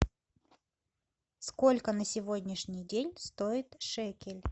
сколько на сегодняшний день стоит шекель